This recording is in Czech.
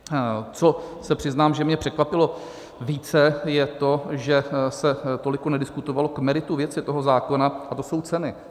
Co se přiznám, že mě překvapilo více, je to, že se toliko nediskutovalo k meritu věci toho zákona, a to jsou ceny.